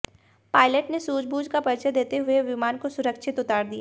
pilot ने सूझबूझ का परिचय देते हुए विमान को सुरक्षित उतार दिया